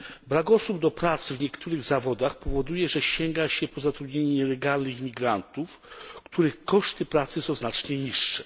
Brak osób do pracy w niektórych zawodach powoduje, że sięga się do zatrudniania nielegalnych imigrantów, których koszty pracy są znacznie niższe.